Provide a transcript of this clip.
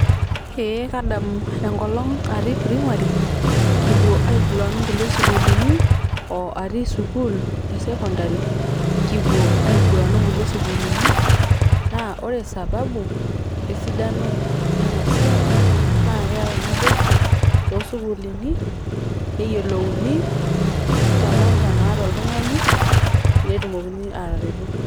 ee kadamu enkolong atii primary kipuo aiguran onkulie sukuulini oo atii sukuul e secondary kipuo aiguran onkulie sukuulini naa ore sababu esidano ena siai naa keyau naboisho tosukuulini neyiolouni talanta naata oltungani netumokini ataretu.